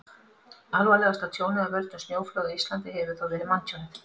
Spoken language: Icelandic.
alvarlegasta tjónið af völdum snjóflóða á íslandi hefur þó verið manntjónið